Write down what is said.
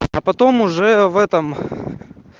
а потом уже в этом